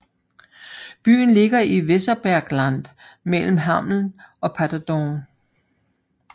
Byen ligger i Weserbergland mellem Hameln og Paderborn